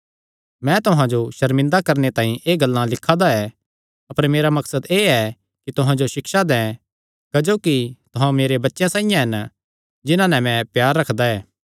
मैं तुहां जो सर्मिंदा करणे तांई एह़ गल्लां नीं लिखा दा ऐ अपर मेरा मकसद एह़ ऐ कि तुहां जो सिक्षा दैं क्जोकि तुहां मेरे बच्चेयां साइआं हन जिन्हां नैं मैं प्यार रखदा ऐ